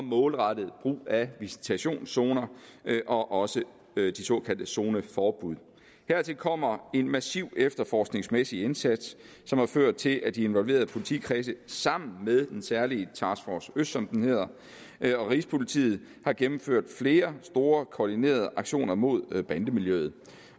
målrettet brug af visitationszoner og også de såkaldte zoneforbud hertil kommer en massiv efterforskningsmæssig indsats som har ført til at de involverede politikredse sammen med den særlige task force øst som den hedder og rigspolitiet har gennemført flere store koordinerede aktioner mod bandemiljøet